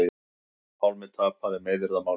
Pálmi tapaði meiðyrðamáli